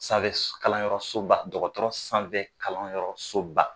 Sanfɛ kalan yɔrɔ so ba dɔgɔtɔrɔ sanfɛ kalan yɔrɔ so ba.